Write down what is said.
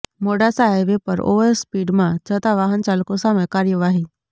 Modasa highway પર ઓવરસ્પીડમાં જતા વાહનચાલકો સામે કાર્યવાહી